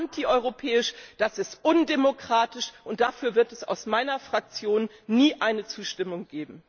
Das ist antieuropäisch, das ist undemokratisch und dafür wird es aus meiner Fraktion nie eine Zustimmung geben.